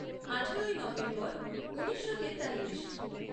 আঠারোই নভেম্বর ঊনিশো তেতাল্লিশ